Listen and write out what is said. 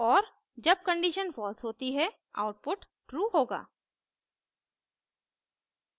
और जब condition false होती है output true होगा